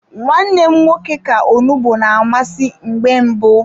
Nwa nne m nwoke ka onugbu na amasị mgbe mbụ.